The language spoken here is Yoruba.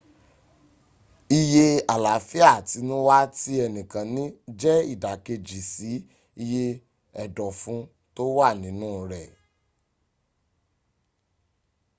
iye àláfíà àtinúwá tí ẹnìkan ní jẹ́ ìdàkejì si iye ẹ̀dọ̀fún tó wà nínu rẹ